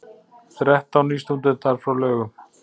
Þrettán nýstúdentar frá Laugum